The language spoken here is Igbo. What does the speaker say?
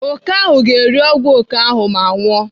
Oke ahụ ga-eri ọgwụ oke ahụ ma nwụọ.